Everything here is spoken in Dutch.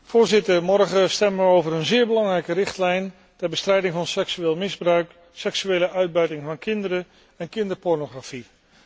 Voorzitter, morgen stemmen we over een zeer belangrijke richtlijn ter bestrijding van seksueel misbruik en seksuele uitbuiting van kinderen en kinderpornografie.